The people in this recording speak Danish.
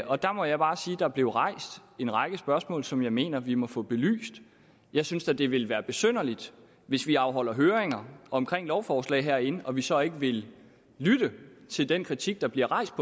og der må jeg bare sige at der blev rejst en række spørgsmål som jeg mener vi må få belyst jeg synes da det ville være besynderligt hvis vi afholder høringer om lovforslag herinde og så ikke vil lytte til den kritik der bliver rejst